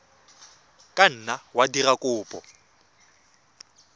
ka nna wa dira kopo